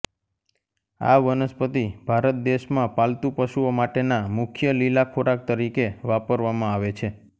આ વનસ્પતિ ભારત દેશમાં પાલતુ પશુઓ માટેના મુખ્ય લીલા ખોરાક તરીકે વાપરવામાં આવે છે